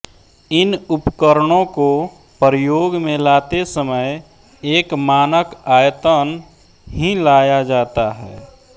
इन उपकरणों को प्रयोग में लाते समय एक मानक आयतन ही लिया जाता है